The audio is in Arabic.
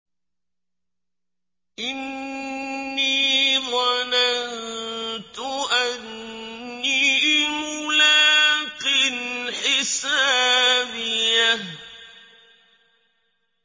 إِنِّي ظَنَنتُ أَنِّي مُلَاقٍ حِسَابِيَهْ